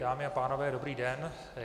Dámy a pánové, dobrý den.